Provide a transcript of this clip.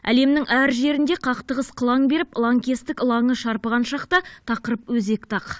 әлемнің әр жерінде қақтығыс қылаң беріп лаңкестік лаңы шарпыған шақта тақырып өзекті ақ